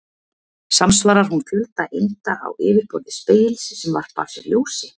Samsvarar hún fjölda einda á yfirborði spegils sem varpa af sér ljósi?